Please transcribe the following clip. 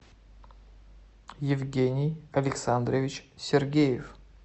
евгений александрович сергеев